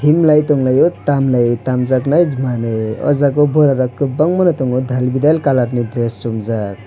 himlai tanglai o tamlaio tamjak nai manui o jaga o bura rog kobangma no tango dalbidal colour ni dress somjak.